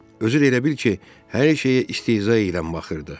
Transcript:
Özü də elə bil ki, hər şeyə istehza eləyən baxırdı.